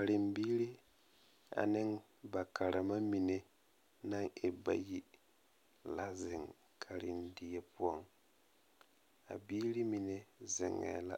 Karembiiri ane ba karemamine naŋ e bayi la zeŋ karendie poɔ a biirimine zeŋɛɛ la